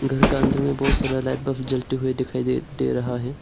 घर का अंदर में बहुत सारा लाइट बल्ब जलते हुए दिखाई दे दे रहा है।